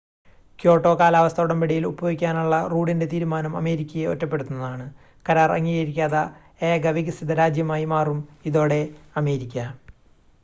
Kyoto കാലാവസ്ഥാ ഉടമ്പടിയിൽ ഒപ്പുവെക്കാനുള്ള റൂഡിൻ്റെ തീരുമാനം അമേരിക്കയെ ഒറ്റപ്പെടുത്തുന്നതാണ് കരാർ അംഗീകരിക്കാത്ത ഏക വികസിത രാജ്യമായി മാറും ഇതോടെ അമേരിക്ക